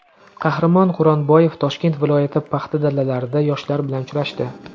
Qahramon Quronboyev Toshkent viloyati paxta dalalarida yoshlar bilan uchrashdi.